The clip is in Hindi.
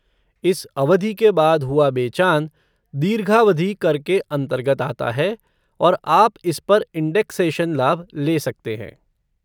इस अवधि के बाद हुआ बेचान, दीर्घावधि कर के अन्तर्गत आता है और आप इस पर इंडेक्सेशन लाभ ले सकते हैं।